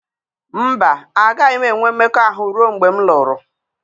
Mba, agaghị m enwe mmekọahụ ruo mgbe m lụrụ.